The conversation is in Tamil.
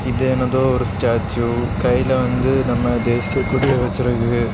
இது எனதோ ஒரு ஸ்டேச்சு கைல வந்து நம்ம தேசிய கொடிய வெசிற்கு.